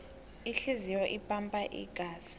ihliziyo ipampa igazi